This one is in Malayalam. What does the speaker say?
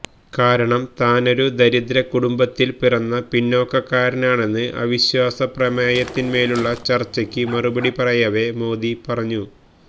കാരണം താനൊരു ദരിദ്ര കുടുംബത്തില് പിറന്ന പിന്നാക്കക്കാരനാണെന്ന് അവിശ്വാസപ്രമേയത്തിന്മേലുള്ള ചര്ച്ചയ്ക്ക് മറുപടി പറയവേ മോദി പറഞ്ഞു